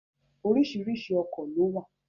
Oríṣiríṣi ọkọ̀ ló wà